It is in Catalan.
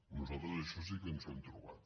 nosaltres això sí que ens ho hem trobat